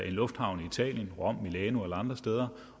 en lufthavn i italien rom milano eller andre steder